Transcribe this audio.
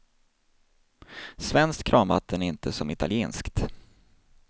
Svenskt kranvatten är inte som italienskt.